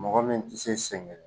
Mɔgɔ min tɛ se